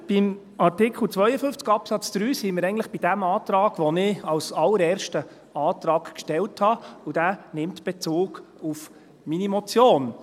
Jetzt, bei Artikel 52 Absatz 3, sind wir eigentlich bei dem Antrag, den ich als allerersten Antrag stellte, und dieser nimmt Bezug auf meine Motion